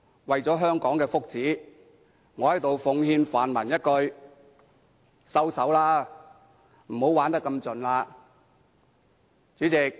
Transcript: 為了香港的福祉，我在此奉勸泛民一句："收手吧，不要玩得太盡。